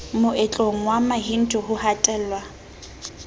moetlong wa mahindu ho hatellwa